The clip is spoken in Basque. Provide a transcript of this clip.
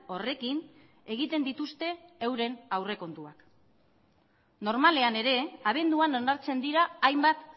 horrekin egiten dituzte euren aurrekontuak normalean ere abenduan onartzen dira hainbat